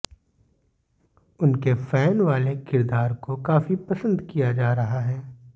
उनके फैन वाले किरदार को काफी पसंद किया जा रहा है